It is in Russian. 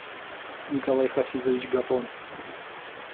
николай хафизович гапон